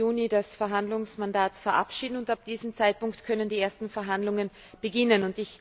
14. Juni das Verhandlungsmandat verabschieden, und ab diesem Zeitpunkt können die ersten Verhandlungen beginnen.